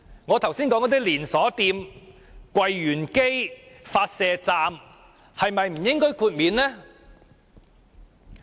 我剛才提到的連鎖店、櫃員機、發射站是否不應獲得豁免？